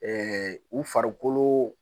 u farikolo